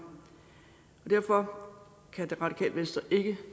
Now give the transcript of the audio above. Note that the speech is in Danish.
derfor kan radikale venstre ikke